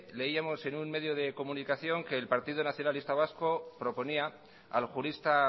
leíamos en un medio comunicación que el partido nacionalista vasco proponía al jurista